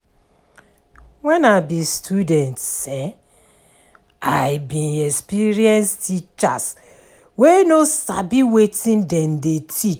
Wen I be student um, I bin experience teachers wey no sabi wetin dem dey teach.